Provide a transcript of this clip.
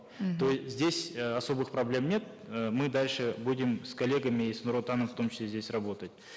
то здесь э особых проблем нет э мы дальше будем с коллегами с нур отаном в том числе здесь работать